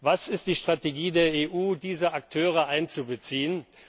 Was ist die Strategie der EU, diese Akteure einzubeziehen?